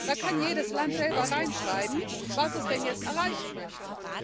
Da kann jedes Land selber reinschreiben, was es denn jetzt erreichen möchte.